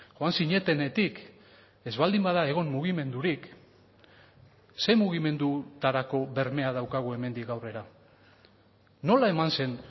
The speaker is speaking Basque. joan zinetenetik ez baldin bada egon mugimendurik ze mugimendutarako bermea daukagu hemendik aurrera nola eman zen